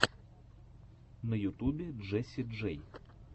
на ютубе джесси джей